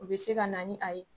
U bɛ se ka na ni a ye.